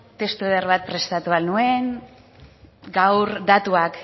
testu eder bat prestatu ahal nuen gaur datuak